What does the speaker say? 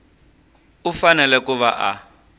u fanele ku va a